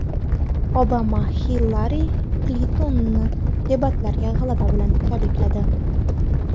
Obama Hillari Klintonni debatlardagi g‘alaba bilan tabrikladi.